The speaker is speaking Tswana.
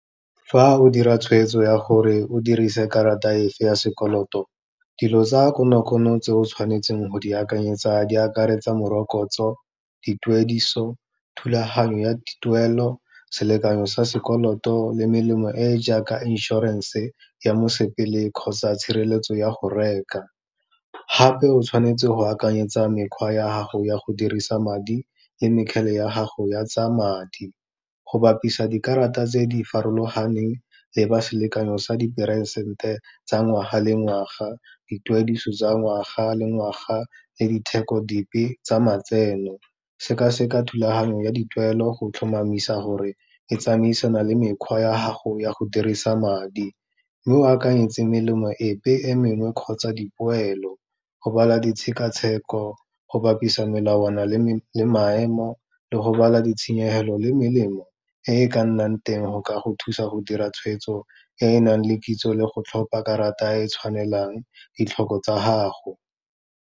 Fa o dira tshweetso ya gore o dirise karata e fe ya sekoloto, dilo tsa konokono tse o tshwanetseng go di akanyetsa di akaretsa morokotso, dituediso, thulaganyo ya dituelo, selekanyo sa sekoloto le melemo e jaaka inshorenše ya mosepele kgotsa tshireletso ya go reka. Gape o tshwanetse go akanyetsa mekgwa ya gago ya go dirisa madi le mekgele ya gago ya tsa madi, go bapisa dikarata tse di farologaneng le ba selekanyo sa diperesente tsa ngwaga le ngwaga, dituediso tsa ngwaga le ngwaga, le ditheko dipe tsa matseno. Sekaseka thulaganyo ya dituelo go tlhomamisa gore e tsamaisana le mekgwa ya gago ya go dirisa madi, mme o akanyetse melemo epe e mengwe kgotsa dipoelo, go bala ditshekatsheko, go bapisa melawana le maemo, le go bala ditshenyegelo le melemo e e ka nnang teng go ka go thusa go dira tshwetso e e nang le kitso, le go tlhopa karata e tshwanelang ditlhoko tsa gago.